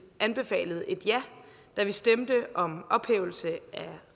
anbefalede et ja da vi stemte om en ophævelse af